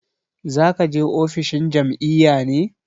Za ka je ofishin jam'iyya ne?